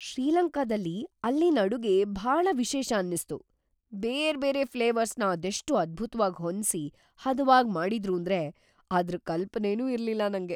ಶ್ರೀಲಂಕಾದಲ್ಲಿ ಅಲ್ಲಿನ್‌ ಅಡುಗೆ ಭಾಳ ವಿಶೇಷ ಅನ್ನಿಸ್ತು, ಬೇರ್ಬೇರೆ ಫ್ಲೇವರ್ಸ್‌ನ ಅದೆಷ್ಟ್‌ ಅದ್ಭುತ್ವಾಗ್ ಹೊಂದ್ಸಿ ಹದವಾಗ್‌ ಮಾಡಿದ್ರೂಂದ್ರೆ ಅದ್ರ್ ಕಲ್ಪನೆನೂ ಇರ್ಲಿಲ್ಲ ನಂಗೆ.